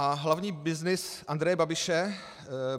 A hlavní byznys Andreje Babiše?